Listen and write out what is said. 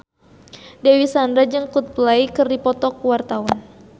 Dewi Sandra jeung Coldplay keur dipoto ku wartawan